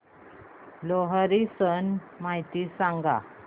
लोहरी सण माहिती सांगा